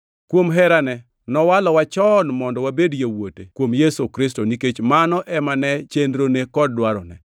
Kuom herane, nowalowa chon mondo wabed yawuote kuom Yesu Kristo nikech mano ema ne chenrone kod dwarone.